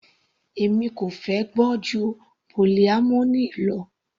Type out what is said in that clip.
Èmi kò fẹ́ gbọ́ ju polyamory lọ.